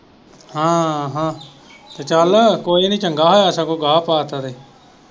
ਹਾਂ ਹਾਂ ਤੇ ਚੱਲ ਕੋਈ ਨੀ ਚੰਗਾ ਹੋਇਆ ਸਗੋਂ ਗਾਹ ਪਾ ਤਾ ਤੇ।